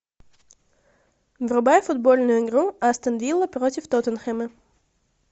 врубай футбольную игру астон вилла против тоттенхэма